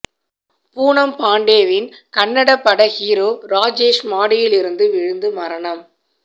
பூனம் பாண்டேவின் கன்னட பட ஹீரோ ராஜேஷ் மாடியில் இருந்து விழுந்து மரணம்